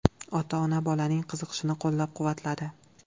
Ota-ona bolaning qiziqishini qo‘llab-quvvatladi.